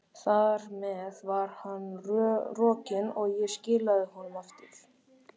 Þar með var hann rokinn, og ég skilaði honum aftur.